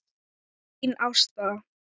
Þín Ásta.